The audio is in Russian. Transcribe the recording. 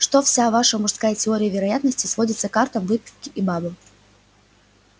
что вся ваша мужская теория вероятности сводится к картам выпивке и бабам